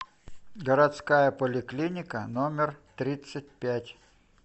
городская поликлиника номер тридцать пять